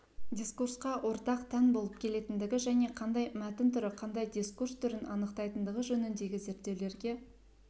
дискурсқа ортақ тән болып келетіндігі және қандай мәтін түрі қандай дискурс түрін анықтайтындығы жөніндегі зерттеулерге